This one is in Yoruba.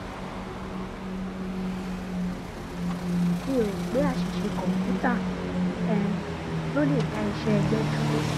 mi ò ro pé aṣìṣe kọǹpútà um ló le dá iṣẹ ẹgbé dúró